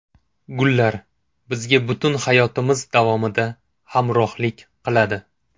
Gullar bizga butun hayotimiz davomida hamrohlik qiladi.